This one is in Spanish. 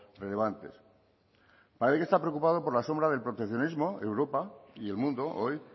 relevantes para ello está preocupado por la sombra del proteccionismo europa y el mundo hoy